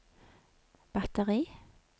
batteri